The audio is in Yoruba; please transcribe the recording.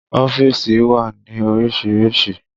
Ọ́fíìsì wà ní orísìírísìí